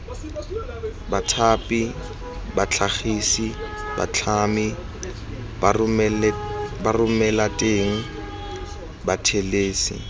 bathapi batlhagisi batlhami baromelateng bathelesi